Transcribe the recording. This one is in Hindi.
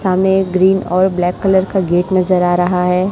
सामने ये ग्रीन और ब्लैक कलर का गेट नजर आ रहा है।